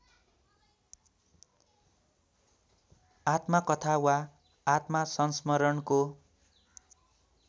आत्मकथा वा आत्मसंस्मरणको